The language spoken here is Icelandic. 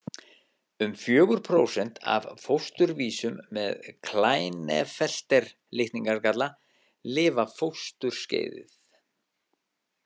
Um fjögur prósent af fósturvísum með Klinefelter-litningagalla lifa fósturskeiðið.